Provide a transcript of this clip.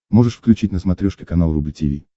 можешь включить на смотрешке канал рубль ти ви